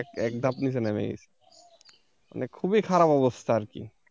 একধাপ নিচে নেমে গেছে মানে খুবই খারাপ অবস্থা কি।